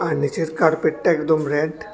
নীচের কার্পেটটা একদম রেড ।